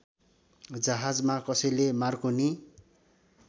जहाजमा कसैले मार्कोनी